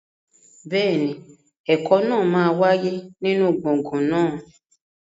Bẹ́ẹ̀ni, ẹ̀kọ́ náà máa wáyé nínú gbọ̀ngàn náà.